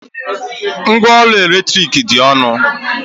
Ngwa ọrụ eletrik dị ọnụ.